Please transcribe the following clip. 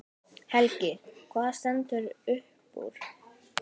Helgi: Hvað stendur upp úr?